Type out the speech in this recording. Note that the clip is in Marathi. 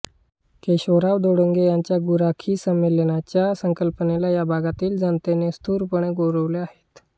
केशवराव धोंडगे यांच्या गुराखी संमेलनाच्या या संकल्पनेला या भागातील जनतेने उत्स्फूर्तपणे गौरवले आहे